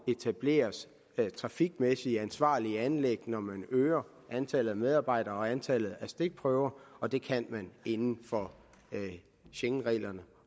etableres trafikmæssigt ansvarlige anlæg når man øger antallet af medarbejdere og antallet af stikprøver og det kan man inden for schengenreglerne